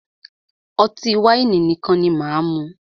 Ọtí wáìnì nìkan ni máà mú.